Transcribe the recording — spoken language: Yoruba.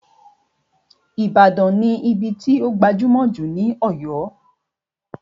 Ìbàdàn ní ibí tó gbajúmọ̀ jù ní Ọ̀yọ́